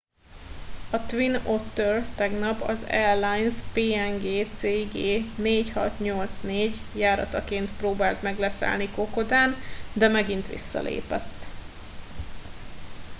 a twin otter tegnap az airlines png cg 4684 járataként próbált meg leszállni kokodán de megint visszalépett